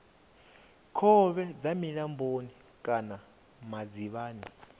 khovhe dza milamboni kana madzivhani